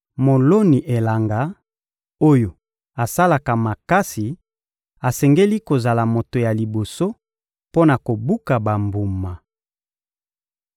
Moloni elanga oyo asalaka makasi asengeli kozala moto ya liboso mpo na kobuka bambuma.